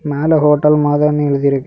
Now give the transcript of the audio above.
மேல ஹோட்டல் மாதினின்னு எழுதி இருக்கு.